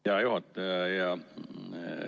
Hea juhataja!